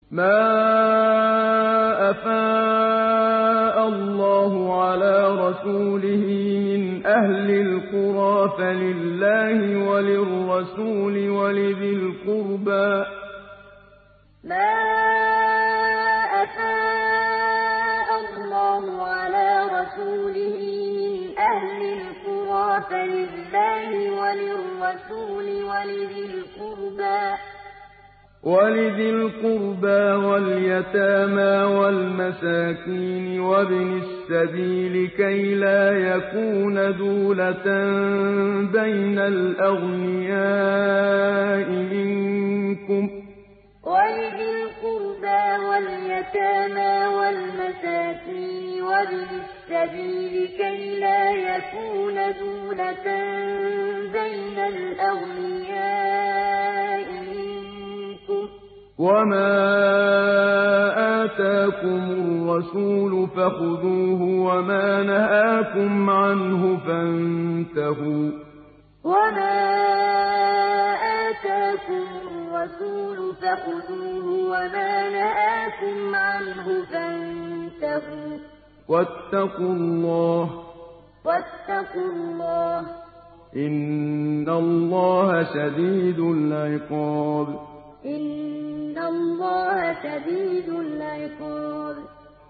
مَّا أَفَاءَ اللَّهُ عَلَىٰ رَسُولِهِ مِنْ أَهْلِ الْقُرَىٰ فَلِلَّهِ وَلِلرَّسُولِ وَلِذِي الْقُرْبَىٰ وَالْيَتَامَىٰ وَالْمَسَاكِينِ وَابْنِ السَّبِيلِ كَيْ لَا يَكُونَ دُولَةً بَيْنَ الْأَغْنِيَاءِ مِنكُمْ ۚ وَمَا آتَاكُمُ الرَّسُولُ فَخُذُوهُ وَمَا نَهَاكُمْ عَنْهُ فَانتَهُوا ۚ وَاتَّقُوا اللَّهَ ۖ إِنَّ اللَّهَ شَدِيدُ الْعِقَابِ مَّا أَفَاءَ اللَّهُ عَلَىٰ رَسُولِهِ مِنْ أَهْلِ الْقُرَىٰ فَلِلَّهِ وَلِلرَّسُولِ وَلِذِي الْقُرْبَىٰ وَالْيَتَامَىٰ وَالْمَسَاكِينِ وَابْنِ السَّبِيلِ كَيْ لَا يَكُونَ دُولَةً بَيْنَ الْأَغْنِيَاءِ مِنكُمْ ۚ وَمَا آتَاكُمُ الرَّسُولُ فَخُذُوهُ وَمَا نَهَاكُمْ عَنْهُ فَانتَهُوا ۚ وَاتَّقُوا اللَّهَ ۖ إِنَّ اللَّهَ شَدِيدُ الْعِقَابِ